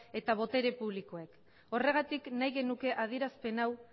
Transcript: eta botere publikoek horregatik nahi genuke adierazpen hau